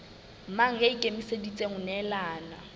mang ya ikemiseditseng ho nehelana